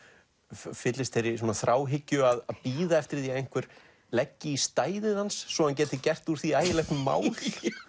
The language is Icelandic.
fyllist þeirri þráhyggju að bíða eftir því að einhver leggi í stæðið hans svo hann geti gert úr því ægilegt mál